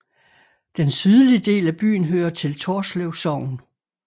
Den sydlige del af byen hører til Torslev Sogn